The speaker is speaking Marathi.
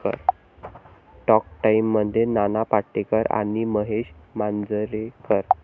टॉक टाइममध्ये नाना पाटेकर आणि महेश मांजरेकर